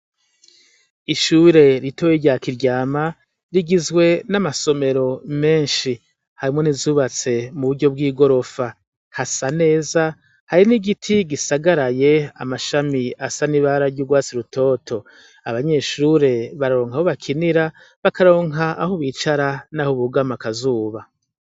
Ishure ritoyi rya kiryama, rigizwe n’amasomero menshi, harimwo nizubatse muburyo bw’igorofa, hasa neza , hari n’igiti gisagaraye ,amashami asa n’ibara ry’urwatsi rutoto, abanyeshure bararonka aho bakinira , bakaronka aho bicara naho bugama akazuba.